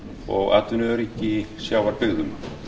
og atvinnuöryggi í sjávarbyggðum